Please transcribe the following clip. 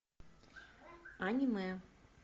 аниме